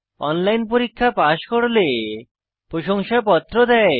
online পরীক্ষা pass করলে প্রশংসাপত্র দেয়